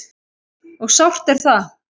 Og sárt er það.